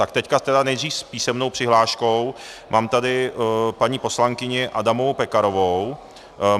Tak teď tedy nejdříve s písemnou přihláškou, mám tady paní poslankyni Adamovou Pekarovou.